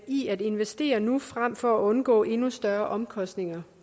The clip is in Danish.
i at investere nu frem for at undgå endnu større omkostninger